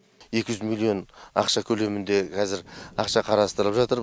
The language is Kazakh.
екі жүз миллион ақша көлемінде қазір ақша қарастырып жатыр